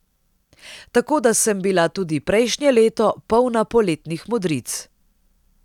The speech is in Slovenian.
Tako, da sem bila tudi prejšnje leto polna poletnih modric.